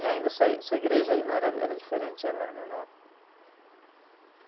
Então era, tinha pouca coisa, né? Aqui na, na, aqui na Vila Muirapinim, né?